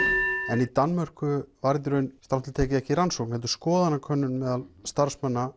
en í Danmörku var þetta strangt til tekið ekki rannsókn heldur skoðanakönnun meðal starfsmanna